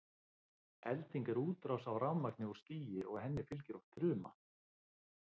elding er útrás af rafmagni úr skýi og henni fylgir oft þruma